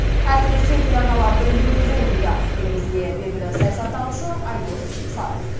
әсіресе телеарналардың ролі зор дейді елімізге белгілі саясаттанушы айдос сарым